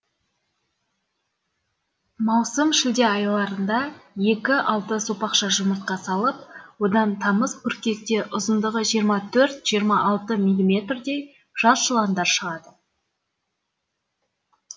маусым шілде айларында екі алты сопақша жұмыртқа салып одан тамыз қыркүйекте ұзындығы жиырма төрт жиырма алты милиметрдей жас жыландар шығады